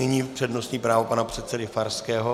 Nyní přednostní právo pana předsedy Farského.